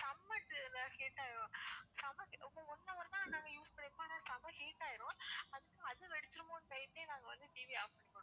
செம்ம heat ஆகிரும் செம்ம ஒரு one hour தான் நாங்க use பண்ணிருப்போம் ஆனா செம்ம heat ஆயிடும் அது வெடிச்சிருமோன்னு பயந்தே நாங்க வந்து TV அ off பண்ணிருவோம்